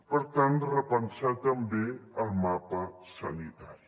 per tant repensar també el mapa sanitari